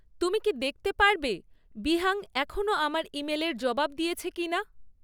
তুমি কি দেখতে পারবে বিহাং এখনও আমার ইমেলের জবাব দিয়েছে কি না?